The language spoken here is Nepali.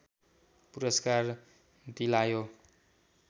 पुरस्कार दिलायो